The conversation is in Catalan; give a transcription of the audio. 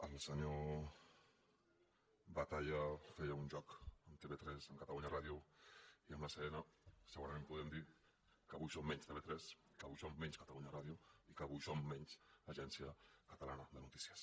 el senyor batalla feia un joc amb tv3 amb catalunya ràdio i amb l’acn segurament podem dir que avui som menys tv3 que avui som menys catalunya ràdio i que avui som menys agència catalana de notícies